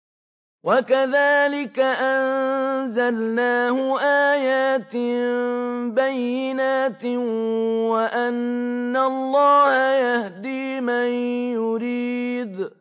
وَكَذَٰلِكَ أَنزَلْنَاهُ آيَاتٍ بَيِّنَاتٍ وَأَنَّ اللَّهَ يَهْدِي مَن يُرِيدُ